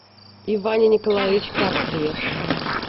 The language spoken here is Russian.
иване николаевиче карцеве